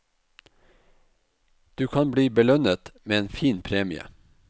Du kan bli belønnet med en fin premie.